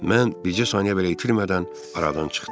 Mən bircə saniyə belə itirmədən aradan çıxdım.